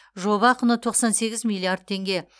жоба құны тоқсан сегіз миллиард теңге